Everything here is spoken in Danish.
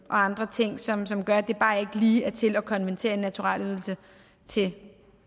andre ting som som gør at det bare ikke lige er til at konvertere en naturalydelse til